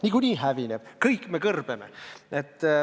Niikuinii planeet hävineb, kõik me kõrbeme.